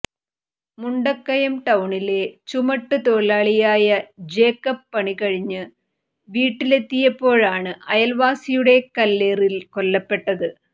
മുണ്ടക്കയം ടൌണിലെ ചുമട്ട് തൊഴിലാളിയായ ജേക്കബ് പണി കഴിഞ്ഞ് വീട്ടിലെത്തിയപ്പോഴാണ് അയൽവാസിയുടെ കല്ലേറിൽ കൊല്ലപ്പെട്ടത്